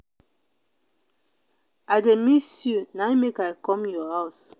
i dey miss you na im make i come your house.